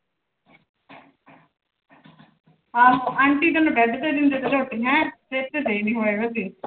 ਹਾਂ ਅੰਟੀ ਤੈਨੂੰ ਬੈਡ ਤੇ ਦਿੰਦੇ ਪਏ ਆ ਰੋਟੀਆਂ